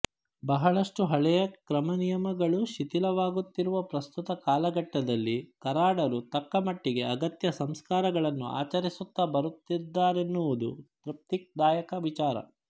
ಬಹಳಷ್ಟು ಹಳೆಯ ಕ್ರಮನಿಯಮಗಳು ಶಿಥಿಲವಾಗುತ್ತಿರುವ ಪ್ರಸ್ತುತ ಕಾಲಘಟ್ಟದಲ್ಲಿ ಕರಾಡರು ತಕ್ಕ ಮಟ್ಟಿಗೆ ಅಗತ್ಯ ಸಂಸ್ಕಾರಗಳನ್ನು ಆಚರಿಸುತ್ತಾ ಬರುತ್ತಿದ್ದಾರೆನ್ನುವುದು ತೃಪ್ತಿದಾಯಕ ವಿಚಾರ